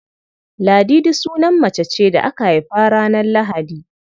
Ladidi sunan mace ce da aka haifa ranar Lahadi.